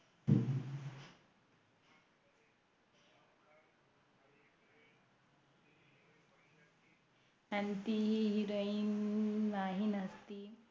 अन ती Heroin माही नसती